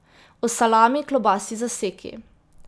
O salami, klobasi, zaseki.